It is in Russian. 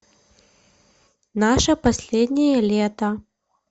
наше последнее лето